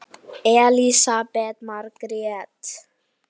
Fullt nafn?